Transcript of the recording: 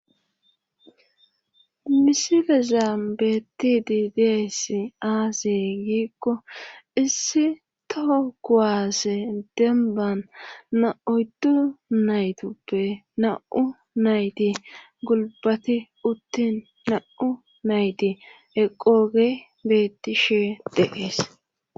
misile zaam beettidi deess aasey giikko issi toho kuwaase demban na7oydu naytoppe na7u nayti gulbati uttin na7u nayti eqooge beettishe deees